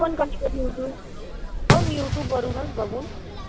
मी पण कधीकधी युट्युब. हो, मी युट्युब वरूनच बघून.